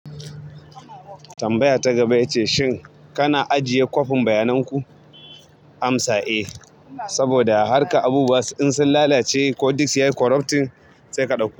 Tambaya ta gaba ita ce shin kana ajiye kwafin bayanan ku. Amsa eh saboda har ka abu was in sun lalace ko disk ya yi corrupting sai ka ɗauka.